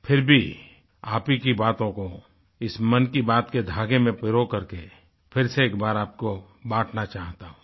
फिर भी आप ही की बातों को इस मन की बात के धागे में पिरोकरके फिर से एक बार आपको बांटना चाहता हूँ